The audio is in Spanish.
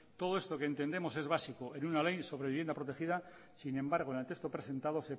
todo esto que entendemos es básico en una ley sobre vivienda protegida sin embargo en el texto presentado